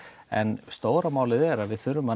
en stóra málið er að við verðum að